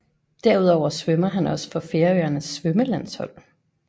Derudover svømmer han også for Færøernes svømmelandshold